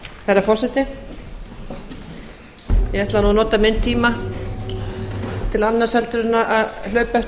herra forseti ég ætlaði nú að nota minn tíma til annars en að hlaupa eftir